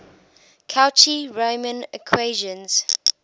cauchy riemann equations